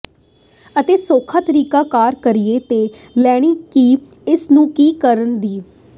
ਅਤੇ ਸੌਖਾ ਤਰੀਕਾ ਕਾਰ ਕਿਰਾਏ ਤੇ ਲੈਣੀ ਕੇ ਇਸ ਨੂੰ ਕੀ ਕਰਨ ਦੀ